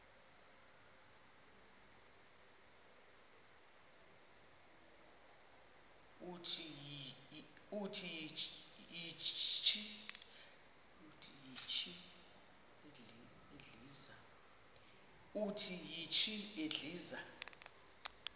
uthi yishi endiza